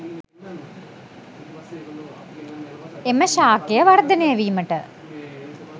එම ශාකය වර්ධනය වීමට